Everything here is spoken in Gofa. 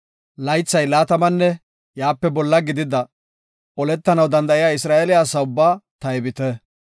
Laythi laatamanne iyape bolla gidida, oletanaw danda7iya Isra7eele asa ubbaa taybite.